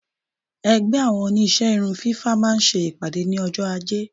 Ẹgbẹ́ àwọn Oníṣẹ́ irun fífá máa ń ṣe ìpàdé ní ọjọ́ ajé.